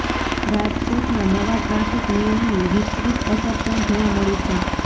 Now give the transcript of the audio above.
રાજકોટમાં નવા ટ્રાફિક નિયમની વીપરીત અસર પણ જોવા મળી છે